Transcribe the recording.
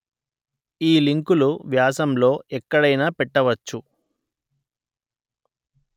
ఈ లింకులు వ్యాసం లో ఎక్కడైనా పెట్టవచ్చు